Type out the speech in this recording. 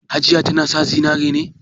Hajiya tana sa zinare ne?